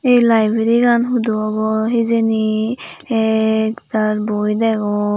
ei lyberigan hudu obow hijeni ektaal boi degong.